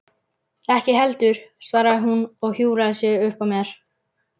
Ekki heldur, svaraði hún og hjúfraði sig uppað mér.